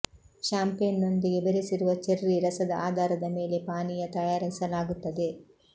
champagne ನೊಂದಿಗೆ ಬೆರೆಸಿರುವ cherry ರಸದ ಆಧಾರದ ಮೇಲೆ ಪಾನೀಯ ತಯಾರಿಸಲಾಗುತ್ತದೆ